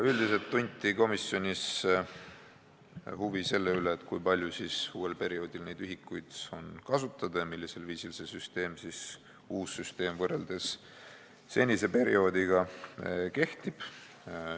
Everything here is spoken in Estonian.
Üldiselt tunti komisjonis huvi selle vastu, kui palju meil uuel perioodil neid ühikuid on kasutada ja millisel viisil see uus süsteem võrreldes senise perioodiga kehtib.